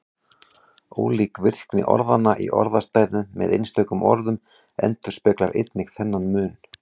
Ólík virkni orðanna í orðastæðum með einstökum orðum endurspeglar einnig þennan mun.